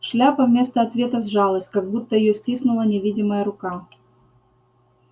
шляпа вместо ответа сжалась как будто её стиснула невидимая рука